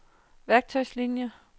værktøjslinier